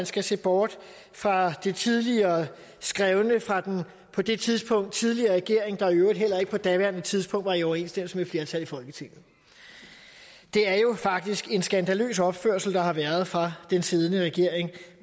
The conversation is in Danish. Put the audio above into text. skal se bort fra det tidligere skrevne fra den på det tidspunkt tidligere regering der i øvrigt heller ikke på daværende tidspunkt var i overensstemmelse med et flertal i folketinget det er jo faktisk en skandaløs opførsel der har været fra den siddende regerings